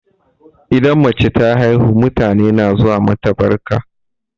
Idan mace ta haihu, mutane na zuwa mata sambarka.